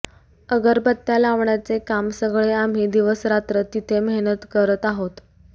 अगरबत्त्या लावण्याचे काम सगळे आम्ही दिवसरात्र तिथे मेहनत करत आहोत